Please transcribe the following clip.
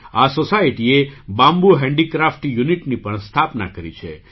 આ સૉસાયટીએ bamboo handicraft યૂનિટની પણ સ્થાપના કરી છે